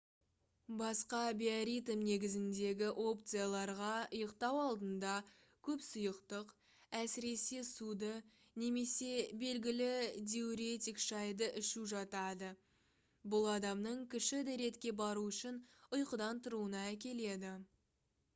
басқа биоритм негізіндегі опцияларға ұйықтау алдында көп сұйықтық әсіресе суды немесе белгілі диуретик шайды ішу жатады бұл адамның кіші дәретке бару үшін ұйқыдан тұруына әкеледі